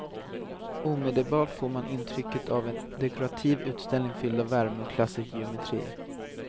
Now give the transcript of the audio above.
Omedelbart får man intrycket av en dekorativ utställning fylld av värme och klassisk geometri.